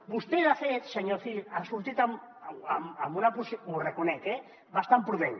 vostè de fet senyor cid ha sortit amb una posició ho reconec eh bastant prudent